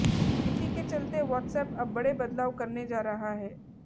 इसी के चलते वॉट्सएप अब बड़े बदलाव करने जा रहा है